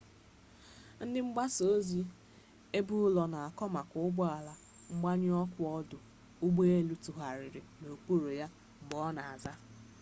ndị mgbasa ozi ebeụlọ na-akọ maka ụgbọ ala mgbanyụ ọkụ ọdụ ụgbọ elu tụgharịrị n'okpuru ya mgbe ọ na-aza